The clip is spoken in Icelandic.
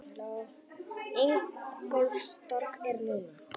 Ingólfstorg er núna.